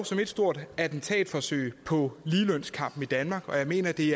som ét stort attentatforsøg på ligelønskampen i danmark og jeg mener at det